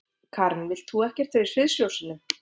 Karen: Þú vilt ekkert vera í sviðsljósinu?